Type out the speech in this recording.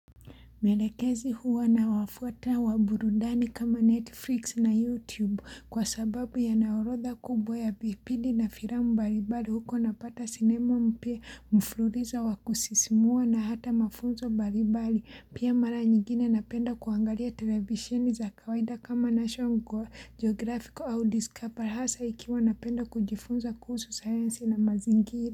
Mwelekezi huwa na wafuata wa burudani kama Netflix na YouTube kwa sababu ya naorodha kubwa ya vipindi na firamu mbalimbali huko napata sinema mpya mflululizo wa kusisimua na hata mafunzo mbalimbali pia mara nyingine napenda kuangalia televisheni za kawaida kama nasho ngwa geografico au diskapa hasa ikiwa napenda kujifunza kuhusu sayansi na mazingira.